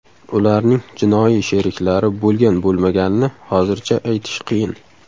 Ularning jinoiy sheriklari bo‘lgan-bo‘lmaganini hozircha aytish qiyin.